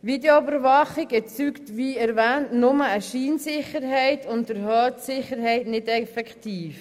Videoüberwachung erzeugt, wie erwähnt, nur eine Scheinsicherheit und erhöht die Sicherheit nicht effektiv.